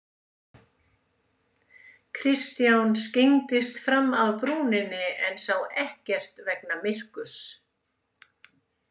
Kristján skyggndist fram af brúninni en sá ekkert vegna myrkurs.